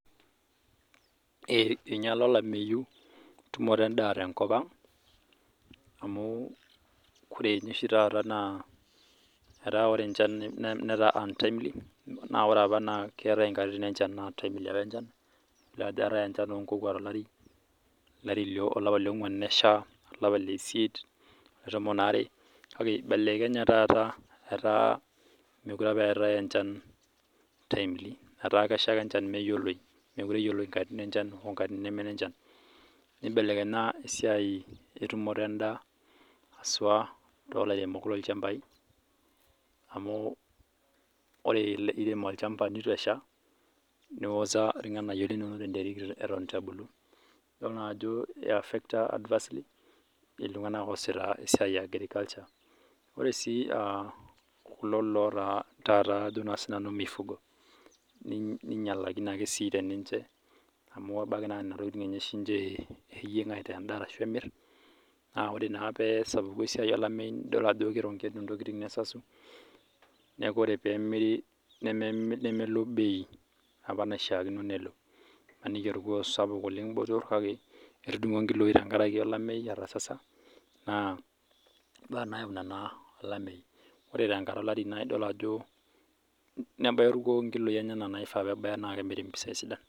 Einyiala olamei tumoto endaa tenkop amu ore oshi taata nkatitin enchan naa un_timely naa ore apa nkatitin enchan naa timely keetae enchan oo nko kwa nyesha olapa lioguna olapa letomon are kae eibelekenye taata mekure etae enchan timely etaa kesha ake enchan meyioloi mekure eyioloi nkatitin enchan wonee menjan nibelekenya entumoto endaa hasua too lairemok loo ilchambai amu tenirem olchamba neitu eshaa nioza irng'anayio linono tenteri Eton eitu ebulu edol naa Ajo eiafecta iltung'ana oosita esiai yaa agriculture ore sii kulo lotaa mifugo ninyiala ake siniche teniche amu ebaiki naa Nena tokitin enye oshi eyieg aitaa endaa ashu emir ore naa pee esapuk esiai olameyu nidol Ajo keronkenu ntokitin nesasau neeku ore pee emiri nemelo bei apa naishakino nelo emaniki aa orkuoo sapuk oleng kake etudungo enkiloi etasasa naa mbaa nayau olameyu ore tenkata olari nebaya orkuo nkiloi enyena naifaa pee ebaya naa kemiri mpisai sidan